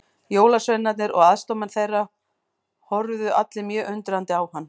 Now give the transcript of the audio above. Jólasveinarnir og aðstoðarmenn þeirra horfðu allir mjög undrandi á hann.